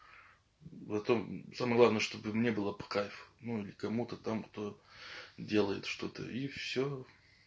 потом самое главное чтобы мне было по кайфу ну или кому-то там кто делает что-то и все